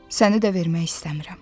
Səni də vermək istəmirəm.